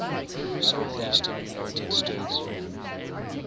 southeastern united states